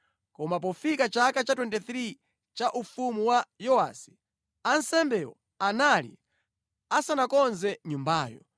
Koma pofika chaka cha 23 cha ufumu wa Yowasi, ansembewo anali asanakonze nyumbayo.